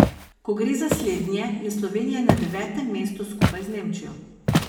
Ko gre za slednje, je Slovenija na devetem mestu skupaj z Nemčijo.